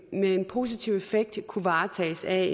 positiv effekt kunne varetages af